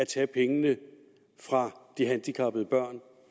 tager pengene fra de handicappede børn